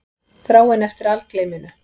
Þráin eftir algleyminu.